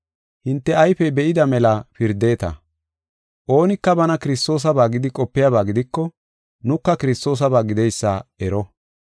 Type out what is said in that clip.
Hinte ayfey be7ida mela pirdeta. Oonika bana Kiristoosaba gidi qopiyaba gidiko, nuka Kiristoosaba gideysa ero.